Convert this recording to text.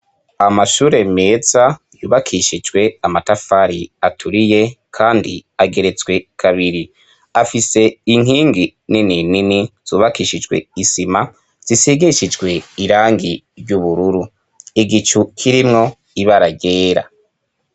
Amashure meza yubakishijwe amatafari aturiye kandi ageretswe kabiri afise inkingi nini nini zubakishijwe isima zisigishijwe irangi ry'ubururu igicu kirimwo ibara ryera.